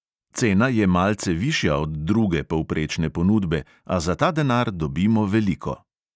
Cena je malce višja od druge povprečne ponudbe, a za ta denar dobimo veliko.